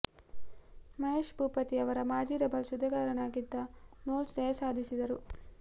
ಮಹೇಶ್ ಭೂಪತಿ ಅವರ ಮಾಜಿ ಡಬಲ್ಸ್ ಜತೆಗಾರನಾಗಿದ್ದ ನೋಲ್ಸ್ ಜಯ ಸಾಧಿಸಿದರು